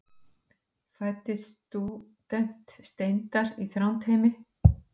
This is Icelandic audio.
fæddist stúdent steinar í þrándheimi